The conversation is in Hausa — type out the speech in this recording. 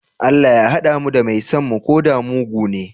Allah Ya hada mu da mai son mu koda mugune?